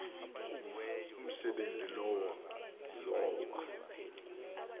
umsebenzi lowo lowa